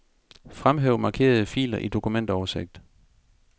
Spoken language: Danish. Fremhæv markerede filer i dokumentoversigt.